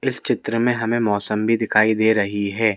इस चित्र में हमें मोसंबी भी दिखाई दे रही है।